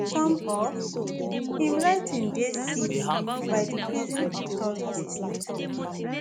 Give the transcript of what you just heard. some of im writing dey seized by di prison authorities e tok